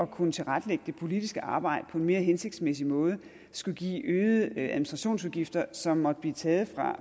kunne tilrettelægge det politiske arbejde på en mere hensigtsmæssig måde skulle give øgede administrationsudgifter som måtte blive taget